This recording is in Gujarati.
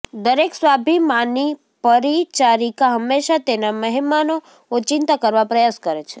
દરેક સ્વાભિમાની પરિચારિકા હંમેશા તેના મહેમાનો ઓચિંતી કરવા પ્રયાસ કરે છે